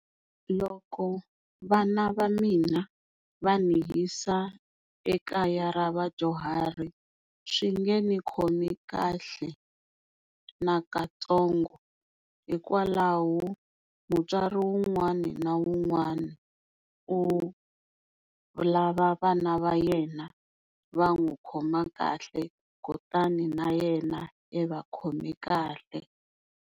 Loko vana va mina va ni yisa ekaya ra vadyuhari swi nge ni khomi kahle na katsongo hikwalaho mutswari wun'wana na wun'wana u lava vana va yena va n'wi khoma kahle kutani na yena i va khome kahle.